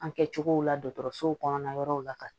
An kɛ cogo la dɔgɔtɔrɔsow kɔnɔna yɔrɔw la ka